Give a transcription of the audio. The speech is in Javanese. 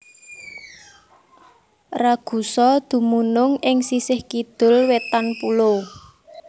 Ragusa dumunung ing sisih kidul wétan pulo